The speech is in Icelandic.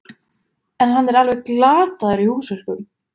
En hann er alveg glataður í húsverkum.